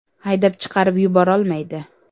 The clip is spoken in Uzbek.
Haydab chiqarib yuborolmaydi.